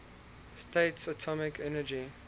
states atomic energy